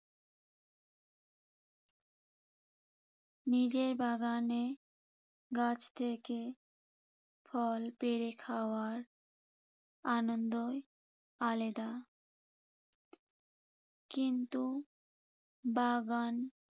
নিজের বাগানে গাছ থেকে ফল পেড়ে খাওয়ার আনন্দই আলেদা। কিন্তু বাগান